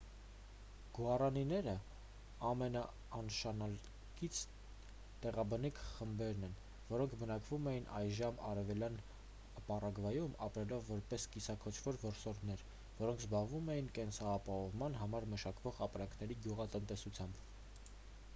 գուառանիները ամենանշանակալից տեղաբնիկ խմբերն էին որոնք բնակվում էին այժմյան արևելյան պարագվայում ապրելով որպես կիսաքոչվոր որսորդներ որոնք զբաղվում էին կենսաապահովման համար մշակվող ապրանքների գյուղատնտեսությամբ